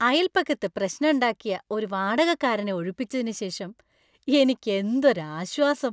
അയൽപക്കത്ത് പ്രശ്നണ്ടാക്കിയ ഒരു വാടകക്കാരനെ ഒഴിപ്പിച്ചതിന് ശേഷം എനിക്ക് എന്തൊരു ആശ്വാസം.